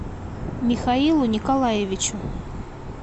михаилу николаевичу